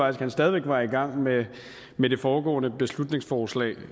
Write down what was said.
at han stadig var i gang med det foregående beslutningsforslag